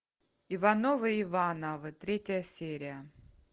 ивановы ивановы третья серия